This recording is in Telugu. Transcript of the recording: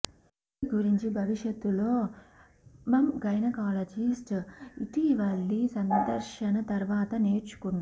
ఈ గురించి భవిష్యత్తులో మమ్ గైనకాలజిస్ట్ ఇటీవలి సందర్శన తర్వాత నేర్చుకున్న